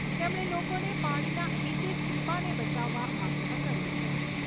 તેમણે લોકોને પાણીના એક એક ટીપાંને બચાવવા આગ્રહ કર્યો છે.